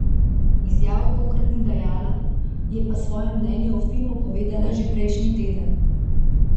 Izjav tokrat ni dajala, je pa svoje mnenje o filmu povedala že prejšnji teden.